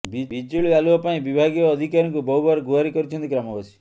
ବିଜୁଳି ଆଲୁଅ ପାଇଁ ବିଭାଗୀୟ ଅଧିକାରୀଙ୍କୁ ବହୁବାର ଗୁହାରି କରିଛନ୍ତି ଗ୍ରାମବାସୀ